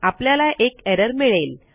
आपल्याला एक एरर मिळेल